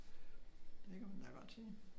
Det kan man da godt sige